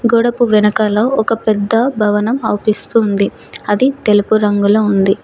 గోడకు వెనకాల ఒక పెద్ద భవనం అవుపిస్తుంది అది తెలుపు రంగులో ఉంది.